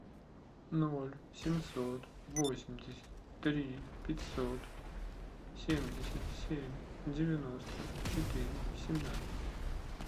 ноль семьсот восемьдесят три пятьсот семьдесят семь девяносто четыре семнадцать